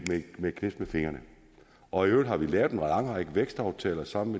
et knips med fingrene og i øvrigt har vi lavet en lang række vækstaftaler sammen